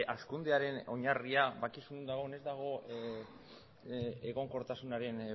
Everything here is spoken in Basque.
hazkundearen oinarria badakizu non dagoen ez dago egonkortasunaren